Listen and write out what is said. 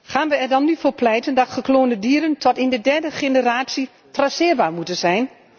Gaan wij er dan nu voor pleiten dat gekloonde dieren tot in de derde generatie traceerbaar moeten zijn?